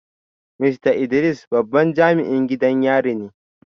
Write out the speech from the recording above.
Mista Idris babban jami’in gidan yari ne